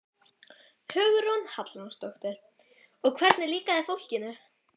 Hugrún Halldórsdóttir: Og hvernig líkaði fólkinu?